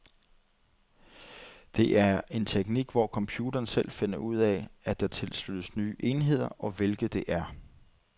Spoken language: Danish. Det er en teknik hvor computeren selv finder ud af, at der tilsluttes nye enheder, og hvilke det er.